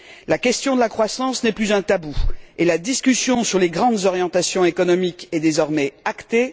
La question de la croissance n'est plus un tabou et la discussion sur les grandes orientations économiques est désormais actée.